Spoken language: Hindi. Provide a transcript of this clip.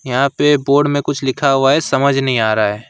यहां पे बोर्ड में कुछ लिखा हुआ है समझ नहीं आ रहा है।